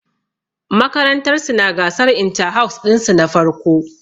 Makarantar su na gasar inta-house ɗin su na farko